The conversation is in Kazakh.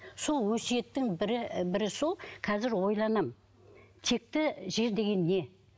сол өсиеттің бірі бірі сол қазір ойланамын текті жер деген не